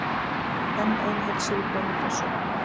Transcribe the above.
Enn ein heilsíðugrein í Pressunni.